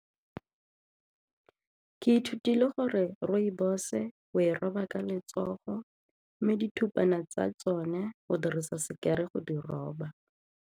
Ke ithutile gore rooibos o e roba ka letsogo mme dithupana tsa tsone go dirisa sekere go di roba.